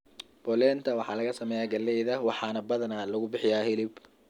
Polenta waxaa laga sameeyaa galleyda waxaana badanaa lagu bixiyaa hilib.